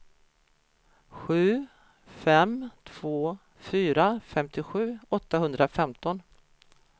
sju fem två fyra femtiosju åttahundrafemton